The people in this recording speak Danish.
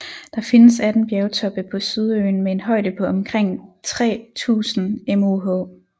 Der findes 18 bjergtoppe på Sydøen med en højde på omkring 3000 moh